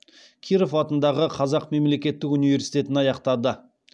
киров атындағы қазақ мемлекеттік университетін аяқтады